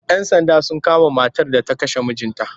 Yan Sanda sun kama matar da ta kashe mijinta